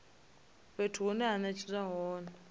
fhethu hune ha netshedzwa hone